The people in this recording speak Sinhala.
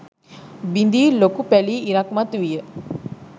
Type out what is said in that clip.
බිඳී ලොකු පැලී ඉරක් මතුවිය.